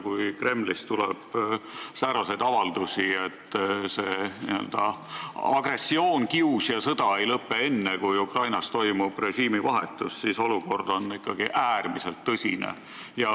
Kui Kremlist tuleb sääraseid avaldusi, et see n-ö agressioon, kius ja sõda ei lõpe enne, kui Ukrainas toimub režiimivahetus, siis on olukord ikkagi äärmiselt tõsine.